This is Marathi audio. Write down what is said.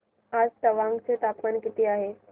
आज तवांग चे तापमान किती आहे